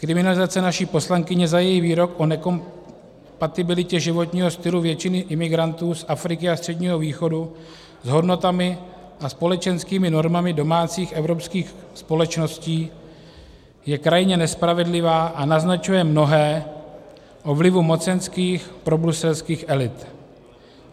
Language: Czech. Kriminalizace naší poslankyně za její výrok o nekompatibilitě životního stylu většiny imigrantů z Afriky a Středního východu s hodnotami a společenskými normami domácích evropských společností je krajně nespravedlivá a naznačuje mnohé o vlivu mocenských probruselských elit.